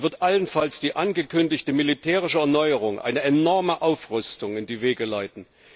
Er wird allenfalls die angekündigte militärische Erneuerung, eine enorme Aufrüstung, in die Wege leiten.